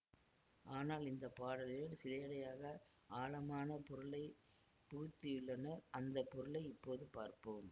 ஆனால் இந்த பாடலினுள் சிலேடையாக ஆழமான பொருளை புகுத்தியுள்ளனர் அந்த பொருளை இப்போது பார்ப்போம்